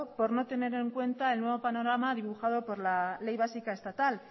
por no tener en cuenta el nuevo panorama dibujado por la ley básica estatal